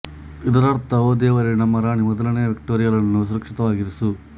ಇದರರ್ಥ ಓ ದೇವರೇ ನಮ್ಮ ರಾಣಿ ಮೊದಲನೇ ವಿಕ್ಟೋರಿಯಾಳನ್ನು ಸುರಕ್ಷಿತವಾಗಿರಿಸು